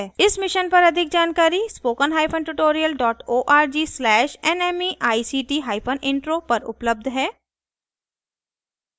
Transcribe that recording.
इस mission पर अधिक जानकारी spoken hyphen tutorial dot org slash nmeict hyphen intro पर उपलब्ध है